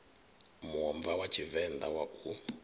muomva wa tshivenḓa wa u